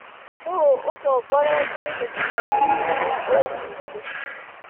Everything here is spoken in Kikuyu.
nũũ ũtongoretĩe gĩthũranoĩnĩ kĩa ũbunge